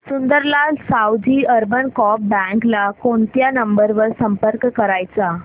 Sundarlal Saoji urban co-op bank ला कोणत्या number वर संपर्क करायचा